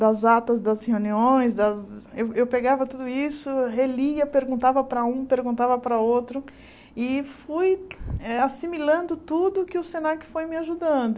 das atas das reuniões, das eu eu pegava tudo isso, relia, perguntava para um, perguntava para outro, e fui eh assimilando tudo que o Senac foi me ajudando.